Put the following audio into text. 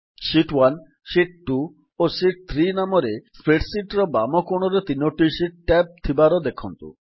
sheet ୧ sheet ୨ ଓ sheet ୩ ନାମରେ spreadsheet ର ବାମ କୋଣରେ ତିନୋଟି ଶିଟ୍ ଟ୍ୟାବ୍ ଥିବାର ଦେଖନ୍ତୁ